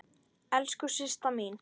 Elsku Systa mín.